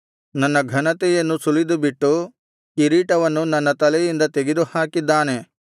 ನನ್ನ ಘನತೆಯನ್ನು ಸುಲಿದುಬಿಟ್ಟು ಕಿರೀಟವನ್ನು ನನ್ನ ತಲೆಯಿಂದ ತೆಗೆದುಹಾಕಿದ್ದಾನೆ